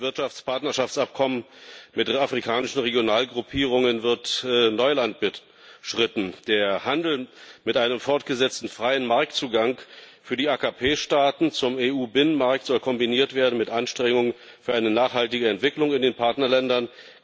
Mit den Wirtschaftspartnerschaftsabkommen mit den afrikanischen Regionalgruppierungen wird Neuland beschritten. Der Handel mit einem fortgesetzten freien Marktzugang für die AKP-Staaten zum EU-Binnenmarkt soll kombiniert werden mit Anstrengungen für eine nachhaltige Entwicklung in den Partnerländern.